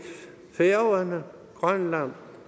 færøerne grønland